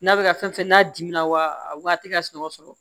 N'a bɛ ka fɛn fɛn n'a dimina wa a waat'a sunɔgɔ sɔrɔ